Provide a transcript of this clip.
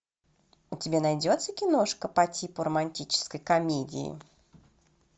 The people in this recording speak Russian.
у тебя найдется киношка по типу романтической комедии